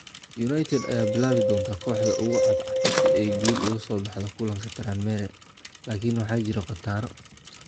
United ayaa bilaabi doonta kooxda ugu cadcad si ay guul uga soo baxdo kulanka Tranmere, laakiin waxaa jira khataro.